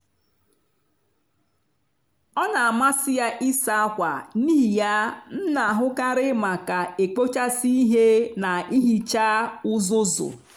ọ n'amasị ya ịsa ákwà n'ihi ya m n'ahụkarị maka ekpochasị ihe na ihicha uzuzu.